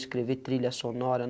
Escrever trilha sonora.